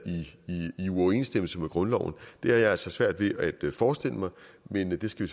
i uoverensstemmelse med grundloven det har jeg altså svært ved at forestille mig men det skal